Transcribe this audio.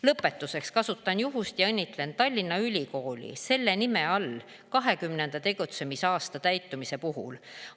Lõpetuseks kasutan juhust ja õnnitlen Tallinna Ülikooli selle nime all 20 tegutsemisaasta täitumise puhul.